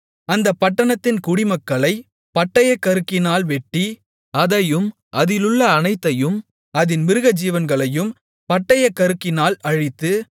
அந்தப் பட்டணத்தின் குடிமக்களைப் பட்டயக்கருக்கினால் வெட்டி அதையும் அதிலுள்ள அனைத்தையும் அதின் மிருகஜீவன்களையும் பட்டயக்கருக்கினால் அழித்து